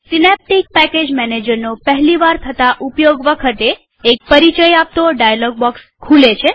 Synaptic package મેનેજરનો પહેલી વાર થતા ઉપયોગ વખતે એક પરિચય આપતો ડાયલોગ બોક્સ ખુલે છે